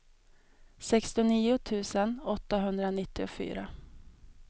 sextionio tusen åttahundranittiofyra